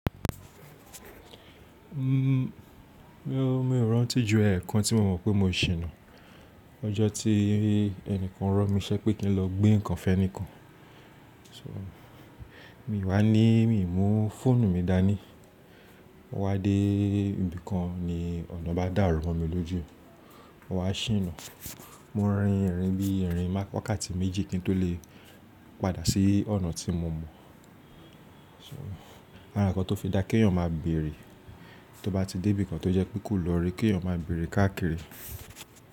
Mmm, mí ò rántí jù ẹẹkan tí mo mọ̀ pé mo ṣìnà ọjọ́ tí ẹnìkan rán mi ṣẹ́ pé kí n lọ gbé nǹkan fẹ́níkàn. So, mi wá ní mi ò mú fóònù mi dání. Mo wá dé ibìkan ni ọ̀nà bá dàrú mo mi lójú, mo wá ṣìnà. Mo rin ìrìn bí ìrìn má wákàtí méjì kí n tó lè padà sí ọ̀nà tí mo mọ̀. So, ará ǹnkan tó fi dá kí èèyàn máa bèrè, tó bá ti dé ibìkan tó jẹ́ pe ko lọ̀ri kí èèyàn máa bèrè káàkiri.